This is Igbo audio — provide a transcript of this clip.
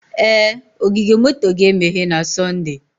Ee, ogige moto ga-emeghe na Sọnde